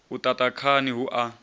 u ṱaṱa khani hu a